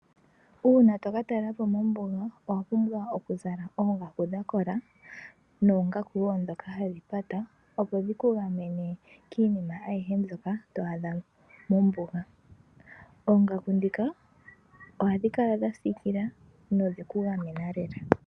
Uuna to katalelapo mombuga, owa pumbwa oku zala oongaku dha kola, noongaku woo ndhoka hadhi pata, opo dhiku gamene kiinima ayihe mbyoka to adha mombuga. Oongaku ndhika ohadhi kala dha siikila, nodhe ku gamena lela.